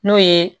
N'o ye